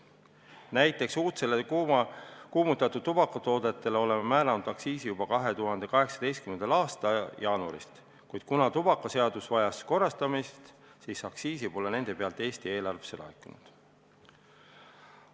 Näiteks oleme uudsetele kuumutatavatele tubakatoodetele määranud aktsiisi juba 2018. aasta jaanuarist, kuid kuna tubakaseadus vajas korrastamist, siis aktsiisi pole nende pealt Eesti eelarvesse laekunud.